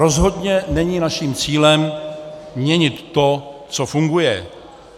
Rozhodně není naším cílem měnit to, co funguje.